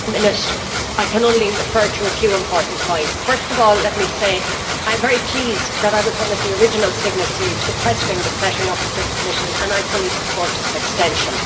Madam President, in one minute I can only refer to a few important points. First of all, let me say that I am very pleased that I was one of the original signatories requesting the setting up of this committee, and I fully support its extension.